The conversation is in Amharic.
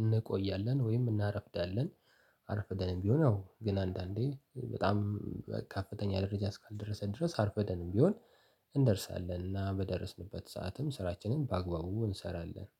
እንቆያለን ወይም እናረፍዳለን። አረፍደንም ቢሆን ያው ግን አንዳንዴ በጣም ከፍተኛ ደረጃ እስካልደረሰ ድረስ አርፍደንም ቢሆን እንደርሳለን እና በደረስንበት ሰዓትም ስራችንን በአግባቡ እንሰራለን።